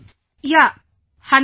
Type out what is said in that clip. Vijayashanti ji Yaa